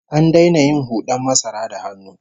An daina yin hud'an masara da hannu